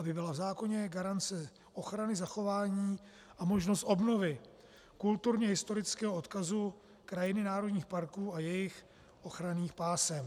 Aby byla v zákoně garance ochrany zachování a možnost obnovy kulturně historického odkazu krajiny národních parků a jejich ochranných pásem.